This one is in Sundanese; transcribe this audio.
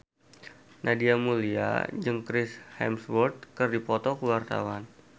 Nadia Mulya jeung Chris Hemsworth keur dipoto ku wartawan